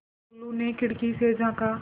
टुल्लु ने खिड़की से झाँका